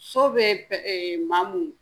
So bɛ maa mun